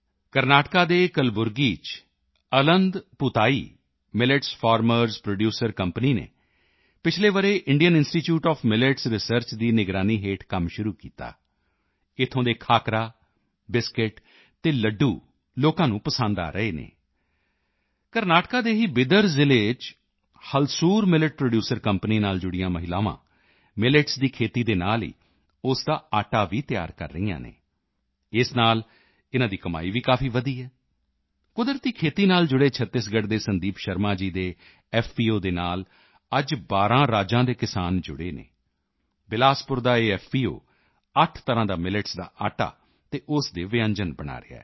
ਕਰਨਾਟਕਾ ਦੇ ਕਲਬੁਰਗੀ ਚ Aland Bhutai Aland Bhutai millets farmers producer company ਨੇ ਪਿਛਲੇ ਵਰ੍ਹੇ Indian institute of millets research ਦੀ ਨਿਗਰਾਨੀ ਹੇਠ ਕੰਮ ਸ਼ੁਰੂ ਕੀਤਾ ਇੱਥੋਂ ਦੇ ਖਾਕਰਾ ਬਿਸਕੁਟ ਅਤੇ ਲੱਡੂ ਲੋਕਾਂ ਨੂੰ ਪਸੰਦ ਆ ਰਹੇ ਹਨ ਕਰਨਾਟਕਾ ਦੇ ਹੀ ਬੀਦਰ ਜ਼ਿਲ੍ਹੇ ਚ ਹੁਲਸੂਰ ਮਿਲੇਟ ਪ੍ਰੋਡਿਊਸਰ ਕੰਪਨੀ ਨਾਲ ਜੁੜੀਆਂ ਮਹਿਲਾਵਾਂ ਮਿਲੇਟਸ ਦੀ ਖੇਤੀ ਦੇ ਨਾਲ ਹੀ ਉਸ ਦਾ ਆਟਾ ਵੀ ਤਿਆਰ ਕਰ ਰਹੀਆਂ ਹਨ ਇਸ ਨਾਲ ਇਨ੍ਹਾਂ ਦੀ ਕਮਾਈ ਵੀ ਕਾਫੀ ਵਧੀ ਹੈ ਕੁਦਰਤੀ ਖੇਤੀ ਨਾਲ ਜੁੜੇ ਛੱਤੀਸਗੜ੍ਹ ਦੇ ਸੰਦੀਪ ਸ਼ਰਮਾ ਜੀ ਦੇ ਐਫਪੀਓ ਨਾਲ ਅੱਜ 12 ਰਾਜਾਂ ਦੇ ਕਿਸਾਨ ਜੁੜੇ ਹਨ ਬਿਲਾਸਪੁਰ ਦਾ ਇਹ ਐਫਪੀਓ 8 ਤਰ੍ਹਾਂ ਦਾ ਮਿਲੇਟਸ ਦਾ ਆਟਾ ਅਤੇ ਉਸ ਦੇ ਵਿਅੰਜਨ ਬਣਾ ਰਿਹਾ ਹੈ